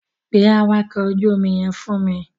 Pe àwakọ̀ ojú omi yẹn wá fún mi.